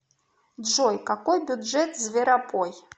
джой какой бюджет зверопой